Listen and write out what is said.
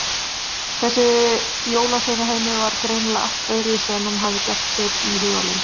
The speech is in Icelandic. Þessi jólasveinaheimur var greinilega allt öðruvísi en hann hafði gert sér í hugarlund.